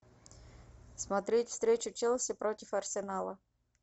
смотреть встречу челси против арсенала